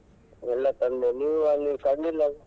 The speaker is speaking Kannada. ಎಲ್ಲಾ ತಂದೆ ನೀವು ಅಲ್ಲಿ ತಂದಿಲ್ಲ ಅದು.